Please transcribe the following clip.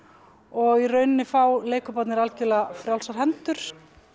og í rauninni fá leikhóparnir algjörlega frjálsar hendur